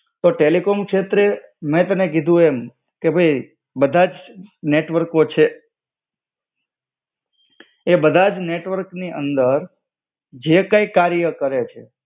તો ટેલિકોમ શેત્રે, મેં તને કીધું એમ, કે ભઈ બધાજ નેટવર્કો છે. આ બધાજ નેટવર્કની અંદર જે કૈક કાર્ય કરે છે.